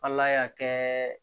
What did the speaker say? Ala y'a kɛ